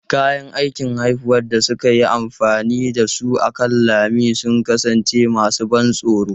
Kayan aikin haifuwar da suka yi amfani da su akan lami sun kasance masu ban tsoro.